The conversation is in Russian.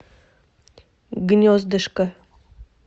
гнездышко